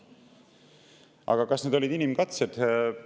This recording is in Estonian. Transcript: Aga kas need olid inimkatsed?